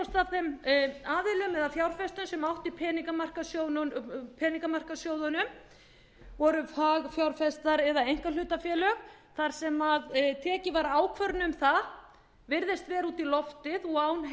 eða þeim fjárfestum sem áttu í peningamarkaðssjóðunum voru fagfjárfestar eða einkahlutafélög þar sem tekin var ákvörðun um það virðist vera út í loftið og án